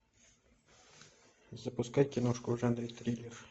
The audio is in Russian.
запускай киношку в жанре триллер